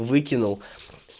выкинул